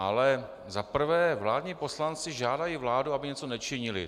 Ale za prvé vládní poslanci žádají vládu, aby něco nečinila.